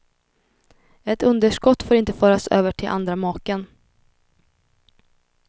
Ett underskott får inte föras över till andra maken.